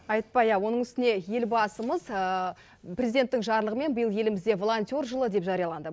айтпа иә оның үстіне елбасымыз президенттің жарлығымен биыл елімізде волонтер жылы деп жарияланды